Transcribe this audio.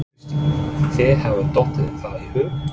Kristín: Þér hefur dottið það í hug?